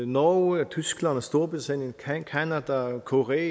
norge tyskland storbritannien canada korea